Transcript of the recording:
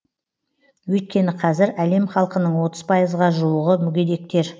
өйткені қазір әлем халқының отыз пайызға жуығы мүгедектер